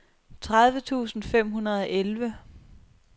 tredive tusind fem hundrede og elleve